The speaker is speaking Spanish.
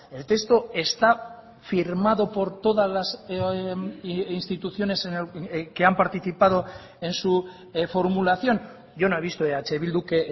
el texto está firmado por todas las instituciones que han participado en su formulación yo no he visto eh bildu que